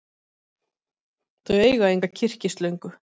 Þau eiga enga kyrkislöngu.